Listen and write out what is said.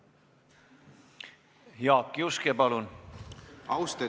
Jaak Juske, palun!